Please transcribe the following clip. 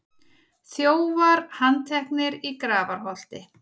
Þjófar handteknir í Grafarholti